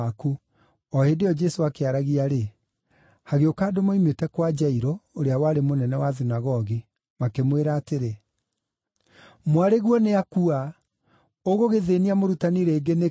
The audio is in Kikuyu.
O hĩndĩ ĩyo Jesũ akĩaragia-rĩ, hagĩũka andũ moimĩte kwa Jairũ ũrĩa warĩ mũnene wa thunagogi, makĩmwĩra atĩrĩ, “Mwarĩguo nĩakua. Ũgũgĩthĩĩnia mũrutani rĩngĩ nĩkĩ?”